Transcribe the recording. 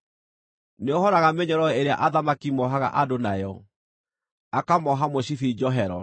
Nĩohoraga mĩnyororo ĩrĩa athamaki moohaga andũ nayo, akamooha mũcibi njohero.